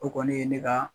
O kɔni ye ne ka